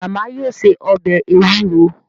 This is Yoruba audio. Màmá yóò se ọbẹ̀ ewúro